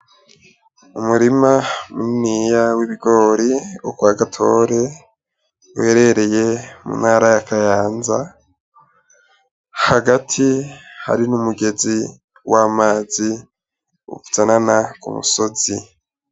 Umurima muniniya w'ibigori wo kwa Gatore uherereye mu ntara ya Kayanza, hagati hari n'umugezi w'amazi uzanana ku musozi.